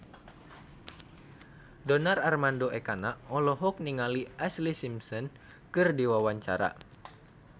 Donar Armando Ekana olohok ningali Ashlee Simpson keur diwawancara